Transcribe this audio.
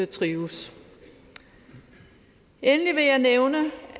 trives endelig vil jeg nævne